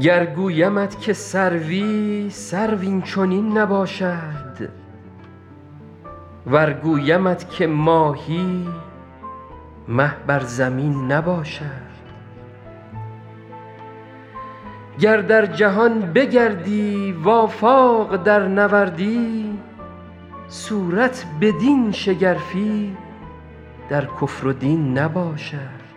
گر گویمت که سروی سرو این چنین نباشد ور گویمت که ماهی مه بر زمین نباشد گر در جهان بگردی و آفاق درنوردی صورت بدین شگرفی در کفر و دین نباشد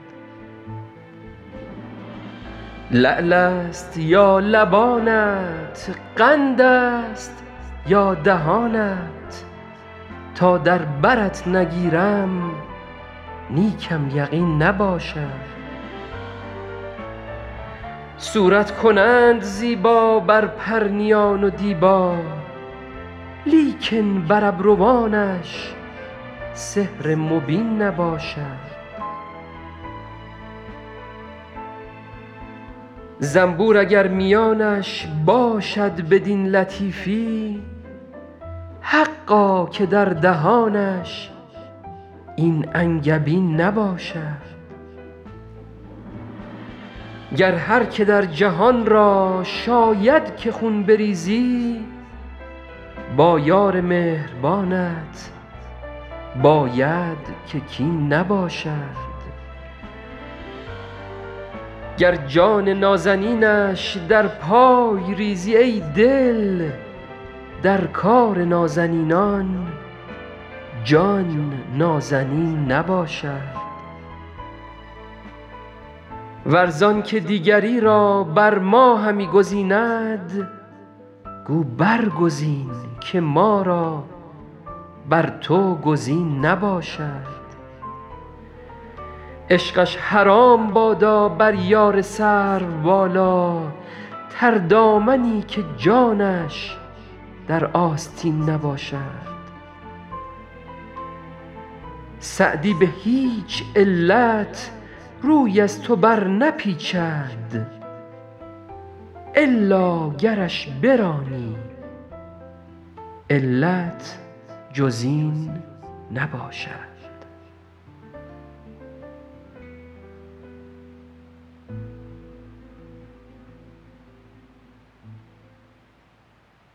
لعل است یا لبانت قند است یا دهانت تا در برت نگیرم نیکم یقین نباشد صورت کنند زیبا بر پرنیان و دیبا لیکن بر ابروانش سحر مبین نباشد زنبور اگر میانش باشد بدین لطیفی حقا که در دهانش این انگبین نباشد گر هر که در جهان را شاید که خون بریزی با یار مهربانت باید که کین نباشد گر جان نازنینش در پای ریزی ای دل در کار نازنینان جان نازنین نباشد ور زان که دیگری را بر ما همی گزیند گو برگزین که ما را بر تو گزین نباشد عشقش حرام بادا بر یار سروبالا تردامنی که جانش در آستین نباشد سعدی به هیچ علت روی از تو برنپیچد الا گرش برانی علت جز این نباشد